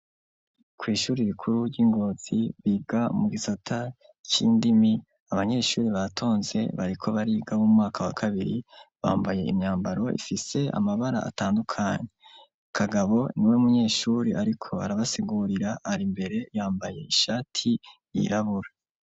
Kw'ishure rikuru ry'ingozi biga mugisata cindimi abanyeshure batonze bariko bariga umwaka wakabiri bambaye umwambaro utandukanye ,kagabo niwo munyeshure Ariko arabasigurira ari Imbere yambaye ishati yirabura.